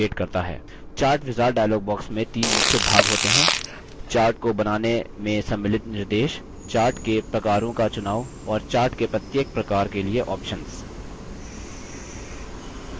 chart wizard dialog box में the मुख्य भाग होते हैं chart को बनाने में सम्मिलित निर्देश chart के प्रकारों का चुनाव और chart के प्रत्येक प्रकार के लिए options